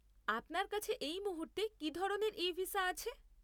আপনার কাছে এই মুহূর্তে কী ধরনের ই ভিসা আছে?